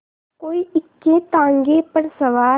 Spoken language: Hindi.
कोई इक्केताँगे पर सवार